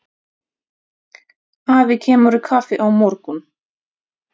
Afi kemur í kaffi á morgun.